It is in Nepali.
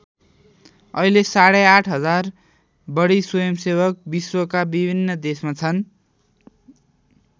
अहिले साढे ८ हजार बढी स्वयम्‌सेवक विश्वका विभिन्न देशमा छन्।